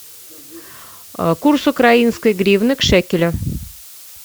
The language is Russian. курс украинской гривны к шекелю